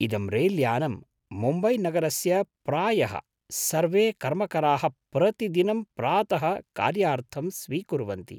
इदं रैल्यानं मुम्बैनगरस्य प्रायः सर्वे कर्मकराः प्रतिदिनं प्रातः कार्यार्थं स्वीकुर्वन्ति।